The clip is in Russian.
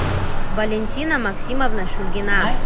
валентина максимовна шульгина